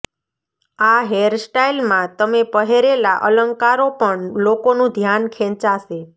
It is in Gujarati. આ હેર સ્ટાઇલમાં તમે પહેરેલા અલંકારો પણ લોકોનું ધ્યાન ખેંચાશે